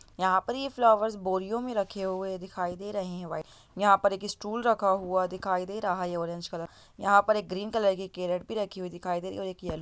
यहां पर ये फ्लोवर्स बोरियों में रखे हुए दिखाई दे रहे हैं व्हाइट यहां पर एक स्टूल रखा हुआ दिखाई दे रहा है ऑरेंज कलर का । यहां पर एक ग्रीन कलर की कैरट भी रखी हुई दिखाई दे रही है और एक ये---